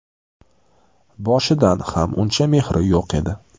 Boshidan ham uncha mehri yo‘q edi.